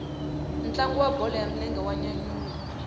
ntlangu wa bolo ya milenge wa nyanyula